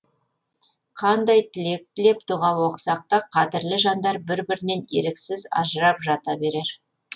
қандай тілек тілеп дұға оқысақ та қадірлі жандар бір бірінен еріксіз ажырап жата берер